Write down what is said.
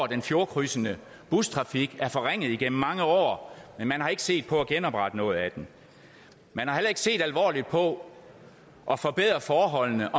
den fjordkrydsende bustrafik er blevet forringet gennem mange år men man har ikke set på at genoprette noget af den man har heller ikke set alvorligt på at forbedre forholdene